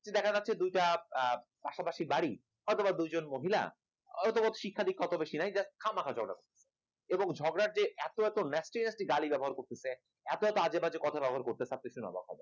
দেখা যাচ্ছে দুইটা পাশাপাশি গাড়ি অথবা দুইজন মহিলা অথবা শিক্ষা দীক্ষা যাদের বেশি নেই খামাখা ঝগড়া করছে ঝগড়ার যে এত এত এত message র গালি ব্যবহার করতেছে এত এত আজেবাজে কথা ব্যবহার করতেছে আপনি দেখলে অবাক হবেন